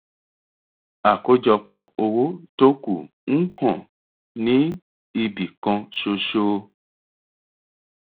àkójọpọ owó tó kù ń hàn ní ibikan ṣoṣo